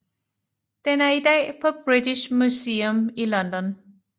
Den er i dag på British Museum i London